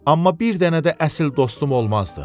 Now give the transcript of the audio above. Amma bir dənə də əsl dostum olmazdı.